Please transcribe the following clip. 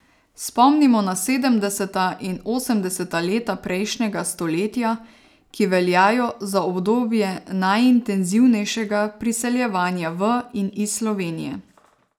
Spomnimo na sedemdeseta in osemdeseta leta prejšnjega stoletja, ki veljajo za obdobje najintenzivnejšega priseljevanja v in iz Slovenije.